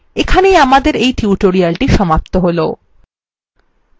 এখানেই আমাদের এই tutorial সমাপ্ত হলো